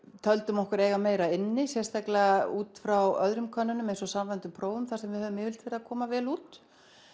töldum okkur eiga meira inni sérstaklega út frá öðrum könnunum eins og samræmdu prófunum þar sem við höfum yfirleitt komið vel út